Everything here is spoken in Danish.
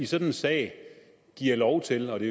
sådan sag giver lov til og det